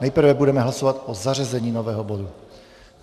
Nejprve budeme hlasovat o zařazení nového bodu.